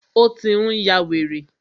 Ó tí n yá wèrè.